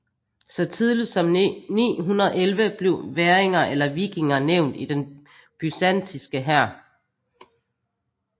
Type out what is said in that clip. Så tidligt som 911 blev væringer eller vikinger nævnt i den byzantinske hær